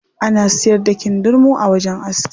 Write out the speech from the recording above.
Ana siyar da kindirmo a wajen aski.